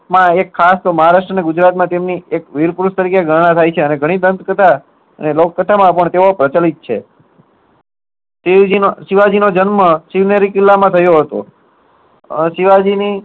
જેમાં ખાસ એક મહારાષ્ટ અને ગુજરાત તેમની એક વીર પુરુષ તરીકે તેમની ઘરણા થાય છે અને ગણી દંત કથા અને લોક કથા માં પણ તેઓ પ્રચલિત છે. શિવ જીની અ શિવાજી નો જન્મ શિવનેરી કિલ્લા માં થયો હતો આહ શિવાજી ની